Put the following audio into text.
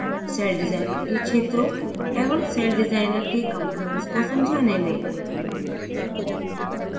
cell designer के क्षेत्रों एवं सेल डिज़ाइनर के components को समझने में